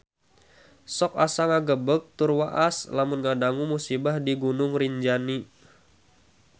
Sok asa ngagebeg tur waas lamun ngadangu musibah di Gunung Rinjani